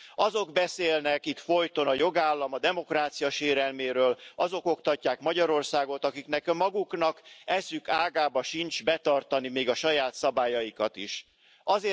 Azok beszélnek itt folyton a jogállam, a demokrácia sérelméről, azok oktatják Magyarországot, akiknek maguknak eszük ágában sincs betartani még a saját szabályaikat sem.